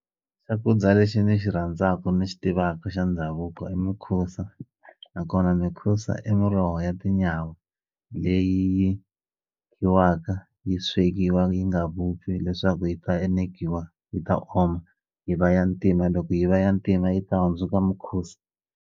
Xakudya lexi ni xi rhandzaku ni xi tivaku xa ndhavuko i mikhusa nakona mikhusa i muroho ya tinyawa leyi khiwaka yi swekiwa yi nga vupfi leswaku yi ta enekiwa yi ta oma yi va ya ntima loko yi va ya ntima yi ta hundzuka mukhusa.